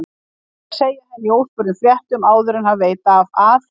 Farinn að segja henni í óspurðum fréttum áður en hann veit af að